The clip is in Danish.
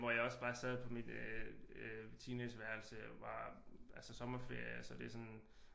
Hvor jeg også bare sad på mit øh teenageværelse og bare altså sommerferie så det er sådan